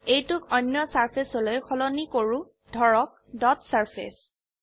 এইটোক অন্য সাৰফেসলৈ সলনি কৰো ধৰক ডট সাৰফেস